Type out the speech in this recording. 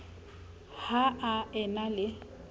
ha a e na le